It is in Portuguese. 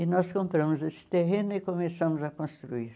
E nós compramos esse terreno e começamos a construir.